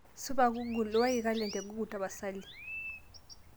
supa google uwaki kalenda e google tapasali